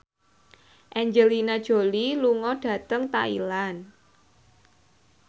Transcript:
Angelina Jolie lunga dhateng Thailand